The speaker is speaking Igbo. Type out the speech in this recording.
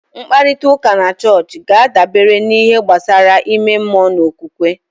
Mkparịta ụka na chọọchị ga-adabere n'ihe gbasara ime mmụọ na okwukwe